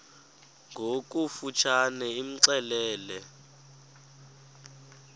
ngokofu tshane imxelele